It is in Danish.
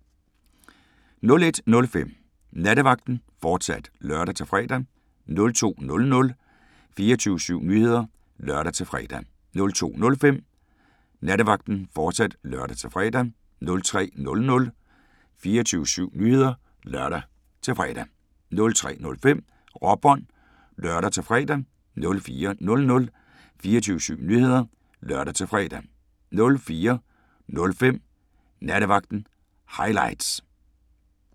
01:05: Nattevagten, fortsat (lør-fre) 02:00: 24syv Nyheder (lør-fre) 02:05: Nattevagten, fortsat (lør-fre) 03:00: 24syv Nyheder (lør-fre) 03:05: Råbånd (lør-fre) 04:00: 24syv Nyheder (lør-fre) 04:05: Nattevagten – highlights